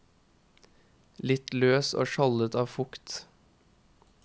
Litt løs og skjoldet av fukt.